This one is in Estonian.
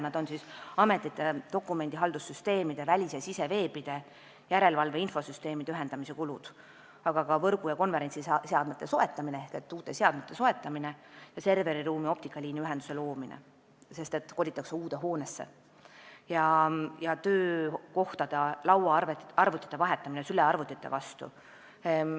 Need on ametite dokumendihaldussüsteemide, välis- ja siseveebide, järelevalve infosüsteemide ühendamise kulud, aga ka võrgu- ja konverentsiseadmete ehk uute seadmete soetamise ja serveriruumi optilise liini kulud, sest kolitakse uude hoonesse ja töökohtade lauaarvutid vahetatakse sülearvutite vastu.